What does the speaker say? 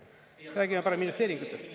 Räägime parem investeeringutest.